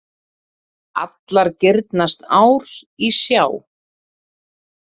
Allar girnast ár í sjá.